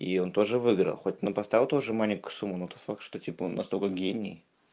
и он тоже выиграл хоть но поставил тоже маленькую сумму ну это факт что типа он настолько гений